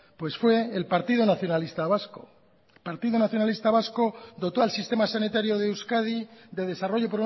pues fue el partido nacionalista vasco el partido nacionalista vasco dotó al sistema sanitario de euskadi de desarrollo